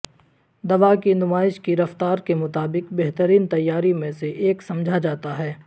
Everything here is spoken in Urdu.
دوا کی نمائش کی رفتار کے مطابق بہترین تیاری میں سے ایک سمجھا جاتا ہے